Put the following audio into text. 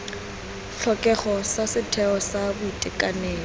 tlhokego sa setheo sa boitekanelo